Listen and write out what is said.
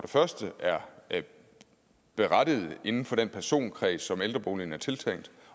første er berettiget inden for den personkreds som ældreboligen er tiltænkt